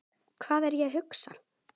Hvað er ég að hugsa?